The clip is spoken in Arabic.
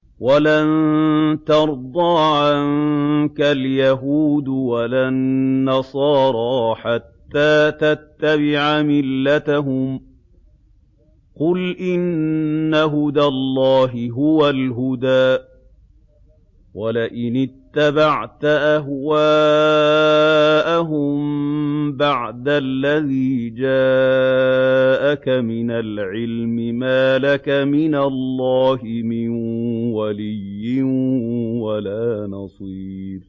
وَلَن تَرْضَىٰ عَنكَ الْيَهُودُ وَلَا النَّصَارَىٰ حَتَّىٰ تَتَّبِعَ مِلَّتَهُمْ ۗ قُلْ إِنَّ هُدَى اللَّهِ هُوَ الْهُدَىٰ ۗ وَلَئِنِ اتَّبَعْتَ أَهْوَاءَهُم بَعْدَ الَّذِي جَاءَكَ مِنَ الْعِلْمِ ۙ مَا لَكَ مِنَ اللَّهِ مِن وَلِيٍّ وَلَا نَصِيرٍ